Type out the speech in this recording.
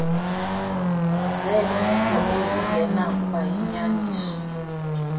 zeemeko ezingenakuba yinyaniso